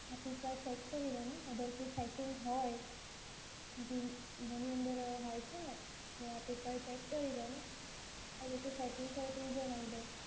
તો એક ચેક કરો તમે અગર કોઈ સેટિંગ હોય જે ઘણી અંદર હોય છે ને, તો આપ એકવાર ચેક કરી લો અને કોઈ સેટિંગ હોય તો એ જણાઈ દો.